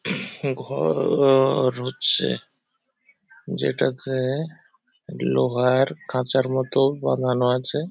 ঘ-ও-ও-র হচ্ছে যেটাতে লোহার খাঁচার মতো বাঁধানো আছে ।